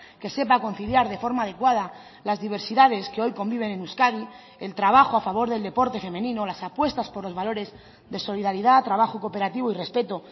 que sepa conciliar de forma adecuada las diversidades que hoy conviven en euskadi el trabajo a favor del deporte femenino las apuestas por los valores de solidaridad trabajo cooperativo y respeto